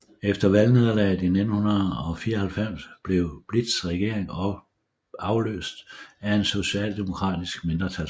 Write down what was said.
Efter valgnederlaget i 1994 blev Bildts regering afløst af en socialdemokratisk mindretalsregering